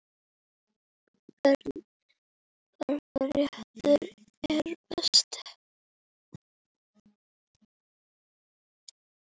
Karen: Hvaða réttur er bestur?